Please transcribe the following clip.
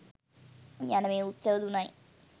යන මේ උත්සව තුනයි.